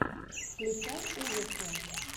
включай ужасы